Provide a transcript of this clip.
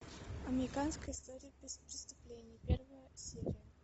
американская история преступлений первая серия